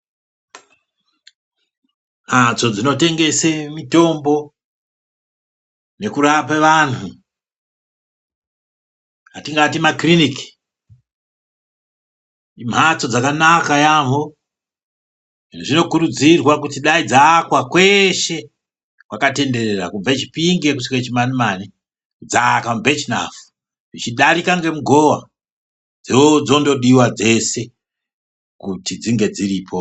Mhatso dzinotengese mitombo nekurape vanhu atingati makiriniki imhatso dzakanaka yaamho, zvinokurudzirwa kuti dai dzaakwa kweshe kwakatenderera kubve Chipinge kusvika Chimanimani kudzaka muBirchnough zvichidarika ngemugowa dzondodiwa dzese kuti dzinge dziripo.